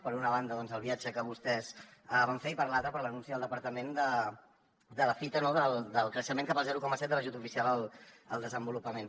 per una banda el viatge que vostès van fer i per l’altra per l’anunci del departament de la fita no del creixement cap al zero coma set de l’ajut oficial al desenvolupament